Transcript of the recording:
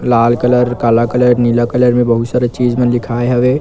लाल colour काला colour नीला colour मे बहुत सारा चीज मन लिखाए हवे ।